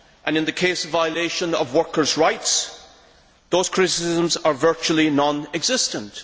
In the case of violation of workers' rights, those criticisms are virtually non existent.